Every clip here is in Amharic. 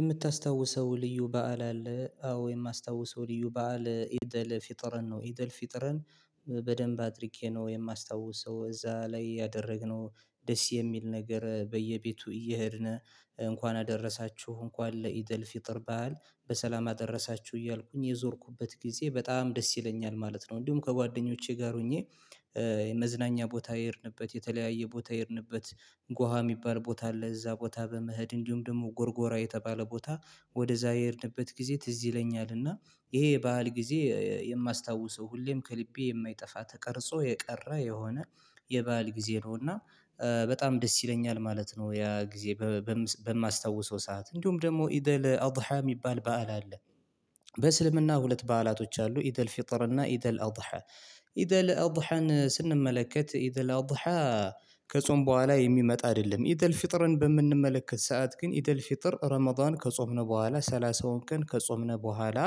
የምታስታውሰው ልዩ በዓል አለ? አዎ የማስታውሰው ልዩ በዓል ኢደል ፊጥርን ነው ኢደል ፊጥርን በደንብ አድርጌ ነው የማስታውሰው እዛ ላይ ያደረግነው ደስ የሚል ነገር በየቤቱ እየሄድን እንኳን አደረሳችሁ እንኳን ለኢድል ፍጥር በዓል በሰላም አደረሳችሁ እያልኩኝ የዞርኩበት ጊዜ በጣም ደስ ይለኛል ማለት ነው። እንዲሁም ከጓደኞቼ ጋር ሆኜ። የመዝናኛ ቦታ የሄድንበት የተለያየ ቦታ የሄድንበት ጓሃ የሚባል ቦታ አለ እዛ ቦታ በመሄድ እንዲሁም ደግሞ ጎርጎራ የተባለ ቦታ ወደዛ የሄድንበት ጊዜ ትዝ ይለኛል። እና ይሄ ባህል ጊዜ የማስታውሰው ሁሌም ከልቤ የማይጠፋ ተቀርጾ የቀረ የሆነ የበአል ጊዜ ነው። እና በጣም ደስ ይለኛል ማለት ነው። ያ ጊዜ በማስታውሰው ሰዓት እንዲሁም ደግሞ ኢደል አውድሃ የሚባል በዓል አለ። በእስልምና ሁለት በዓላቶች አሉ። ኢደል ፊጥር እና ኢደል አውዳሃን ኢደል አውድሃን ስንመለከት ኢደል አውድሃ። ከጾም በኋላ የሚመጣ አይደለም ኢደል ፍጥርን በምንመለከት ሰዓት ግን ኢደል ፍጥር ረመዳን ከጾምን በኋላ ሰላሳውን ቀን ከጾምን በኋላ።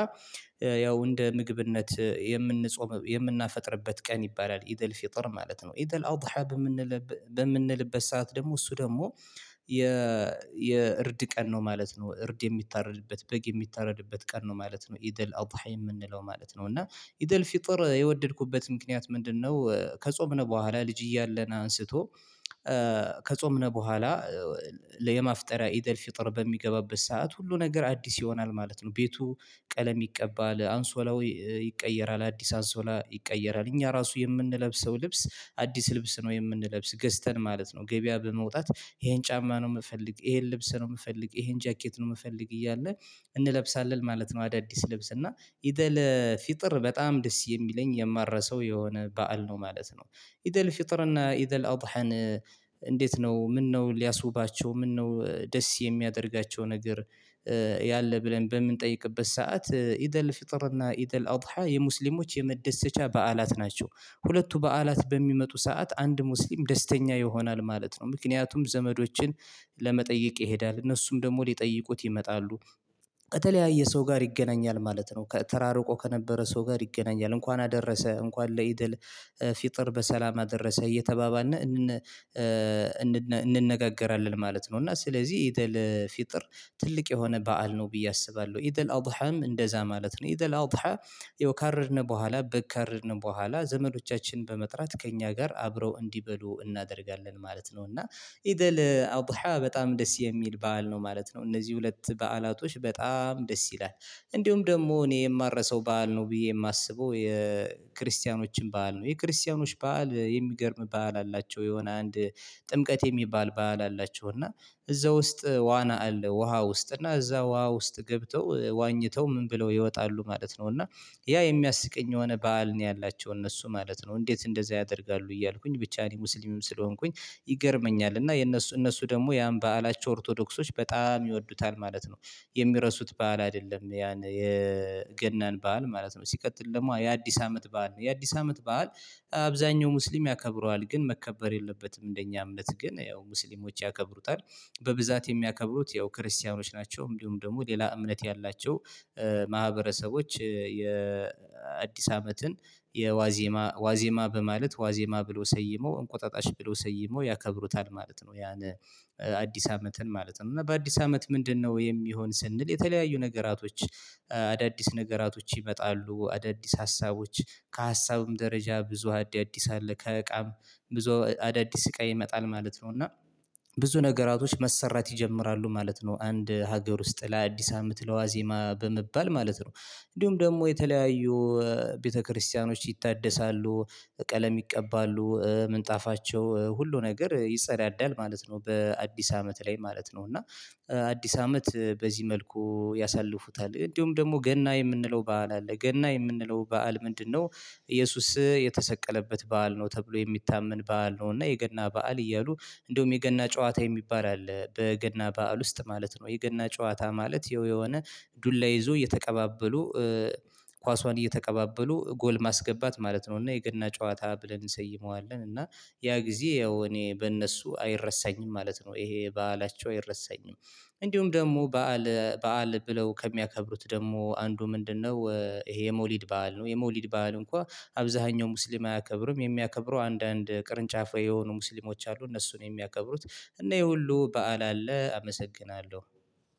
ያው እንደ ምግብነት የምንጾም የምናፈጥርበት ቀን ይባላል ኢድል ፊጠር ማለት ነው። ኢድል አውድሃብ የምንል በምንልበት ሰዓት ደግሞ እሱ ደግሞ የ የእርድ ቀን ነው ማለት ነው። እርድ የምታረድበት በግ የሚታረድበት ቀን ነው ማለት ነው። ኢደል አውድሃ የምንለው ማለት ነው እና ኢደል ፊጥር የወደድኩበት ምክንያት ምንድነው? ከጾምነው በኋላ ልጅ እያለን አንስቶ። ከጾምነው በኋላ የማፍጠሪያ ኢደል ፍጥር በሚገባበት ሰዓት ሁሉ ነገር አዲስ ይሆናል ማለት ነው። ቤቱ ቀለም ይቀባል አንሶላው ይቀየራል አዲስ አንሶላ ይቀየራል እኛ ራሱ የምንለብሰው ልብስ አዲስ ልብስ ነው የምንለብሰው ገዝተንን ማለት ነው። ገበያ በመውጣት ይሄን ጫማ ነው የምፈልግ ይሄን ልብስ ነው የምፈልግ ይሄን ጃኬት ነው የምፈልግ እያለ እንለብሳለን ማለት ነው። አዳዲስ ልብስ እና ኢደል ፊጥር በጣም ደስ የሚለኝ የማረሰው የሆነ በዓል ነው ማለት ነው። ኢደል ፍጥርና ኢደል አውድሀን እንዴት? ነው ምነው ሊያስውባቸው ምነው ደስ የሚያደርጋቸው ነገር ያለ ብለን በምንጠይቅበት ሰዓት ኢደል ፍጥርና ኢደል አውድሃ የሙስሊሞች የመደሰቻ በዓላት ናቸው። ሁለቱ በዓላት በሚመጡ ሰዓት አንድ ሙስሊም ደስተኛ ይሆናል ማለት ነው። ምክንያቱም ዘመዶችን ለመጠየቅ ይሄዳል እነሱም ደግሞ ሊጠይቁት ይመጣሉ። ከተለያየ ሰው ጋር ይገናኛል ማለት ነው። ተራርቆ ከነበረ ሰው ጋር ይገናኛል እንኳን አደረሰ እንኳን ለኢድል ፊጥር በሰላም አደረሰ እየተባባነ እንነጋገራለን ማለት ነው። እና ስለዚህ ኢደል ፊጥር ትልቅ የሆነ በዓል ነው። ብዬ አስባለሁ ኢደል አውድሃም እንደዛ ማለት ነው። ኢደል አውድሃ ያው ካረድን በኋላ በግ ካረድ በኋላ ዘመዶቻችን በመጥራት ከእኛ ጋር አብረው እንዲበሉ እናደርጋለን ማለት ነው። እና ኢደል አውድሃ በጣም ደስ የሚል በዓል ነው ማለት ነው። እነዚህ ሁለት በዓላቶች በጣም ደስ ይላል። እንዲሁም ደግሞ እኔ የማረሳው በዓል ነው ብዬ የማስበው የክርስቲያኖችም በዓል ነው የክርስቲያኖች በዓል የሚገርም በዓል አላቸው የሆነ አንድ ጥምቀት የሚባል በዓል አላቸው። እና እዛ ውስጥ ዋና አለ ውሃ ውስጥ እና እዛ ውሃ ውስጥ ገብተው ዋኝተው ምን ብለው ይወጣሉ ማለት ነው። እና ያ የሚያስቀኝ የሆነ በዓል ነው ያላቸው እነሱ ማለት ነው። እንዴት እንደዛ ያደርጋሉ። እያልኩኝ ብቻ እኔ ሙስሊምም ስለሆንኩኝ ይገርመኛል። እና የእነሱ እነሱ ደግሞ ያን በዓላቸው ኦርቶዶክሶች በጣም ይወዱታል ማለት ነው። የሚረሱት በዓል አይደለም ያን የገናን በዓል ማለት ነው። ሲቀጥል ደግሞ የአዲስ አመት በዓል የአዲስ አመት በዓል። አብዛኛው ሙስሊም ያከብረዋል ግን መከበር የለበትም እንደኛ እምነት ግን ያው ሙስሊሞች ያከብሩታል። በብዛት የሚያከብሩት ያው ክርስቲያኖች ናቸው። እንዲሁም ደግሞ ሌላ እምነት ያላቸው ማህበረሰቦች የ አዲስ አመትን የዋዜማ ዋዜማ በማለት ዋዜማ ብሎ ሰይሞ እንቆጣጣሽ ብሎ ሰይሞ ያከብሩታል ማለት ነው። ያን አዲስ አመትን ማለት ነው እና በአዲስ አመት ምንድነው? የሚሆን ስንል የተለያዩ ነገራቶች አዳዲስ ነገራቶች ይመጣሉ አዳዲስ ሀሳቦች ከሀሳብም ደረጃ ብዙ አዳዲስ አለ ከእቃም ብዙ አዳዲስ እቃ ይመጣል ማለት ነው። እና ብዙ ነገራቶች መሰራት ይጀምራሉ ማለት ነው። አንድ ሀገር ውስጥ ለአዲስ አመት ለዋዜማ በመባል ማለት ነው። እንዲሁም ደግሞ የተለያዩ ቤተክርስቲያኖች ይታደሳሉ ቀለም ይቀባሉ ምንጣፋቸው ሁሉ ነገር ይጸዳዳል ማለት ነው። በአዲስ አመት ላይ ማለት ነው እና አዲስ አመት በዚህ መልኩ ያሳልፉታል። እንዲሁም ደግሞ ገና የምንለው በዓል አለ ገና የምንለው በዓል ምንድነው? እየሱስ የተሰቀለበት በዓል ነው ተብሎ የሚታመን በዓል ነው። እና የገና በዓል እያሉ እንደውም የገና ጨዋታ የሚባል አለ በገና በዓል ውስጥ ማለት ነው። የገና ጨዋታ ማለት የሆነ ዱላ ይዞ እየተቀባበሉ ኳሷን እየተቀባበሉ ጎል ማስገባት ማለት ነው። እና የገና ጨዋታ ብለን እንሰይመዋለን። እና ያ ጊዜ ያው እኔ በእነሱ አይረሳኝም ማለት ነው። ይሄ በዓላቸው አይረሳኝም። እንዲሁም ደግሞ በዓል በዓል ብለው ከሚያከብሩት ደግሞ አንዱ ምንድነው? ይሄ የመውሊድ በዓል ነው። የመውሊድ በዓል እንኳን አብዛኛው ሙስሊም አያከብርም የሚያከብሩ አንዳንድ ቅርንጫፍ የሆኑ ሙስሊሞች አሉ እነሱ ነው የሚያከብሩት እና ይሄ ሁሉ በዓል አለ አመሰግናለሁ።